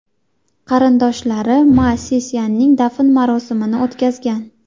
Qarindoshlari Ma Sisyanning dafn marosimini o‘tkazgan.